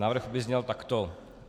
Návrh by zněl takto.